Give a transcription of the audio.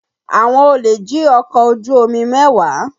Àwọn olè jí ọkọ̀ ojú omi mẹ́wàá